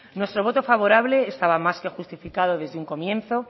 nuestro voto favorable estaba más que justificado desde un comienzo